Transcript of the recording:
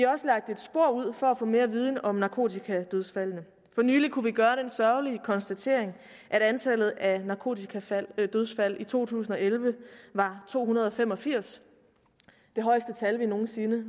også lagt et spor ud for at få mere viden om narkotikadødsfaldene for nylig kunne vi gøre den sørgelige konstatering at antallet af narkotikadødsfald i to tusind og elleve var to hundrede og fem og firs det højeste tal vi nogen sinde